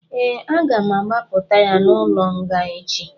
Ee, aga m agbapụta ya n'ụlọ nga echi